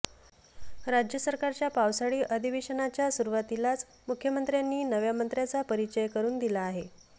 राज्य सरकारच्या पावसाळी अधिवेशनाच्या सुरुवातीलाच मुख्यमंत्र्यांनी नव्या मंत्र्यांचा परिचय करून दिला आहे